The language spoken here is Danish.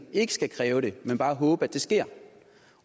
ikke skal kræve det men bare håbe at det sker